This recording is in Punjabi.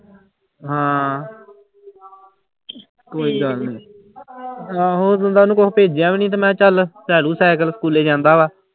ਹਾਂ ਕੋਈ ਗੱਲ ਨੀ ਆਹੋ ਊਂ ਤਾਂ ਉਹਨੂੰ ਕੁਛ ਭੇਜਿਆ ਵੀ ਨੀ ਮੈਂ ਚੱਲ ਲੈ ਦਊਂ ਸਾਇਕਲ ਸਕੂਲੇ ਜਾਂਦਾ ਵਾ।